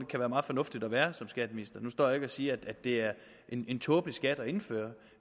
kan være meget fornuftigt at være det som skatteminister nu står jeg siger at det er en tåbelig skat at indføre